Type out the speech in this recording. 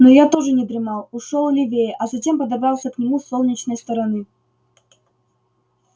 но я тоже не дремал ушёл левее а затем подобрался к нему с солнечной стороны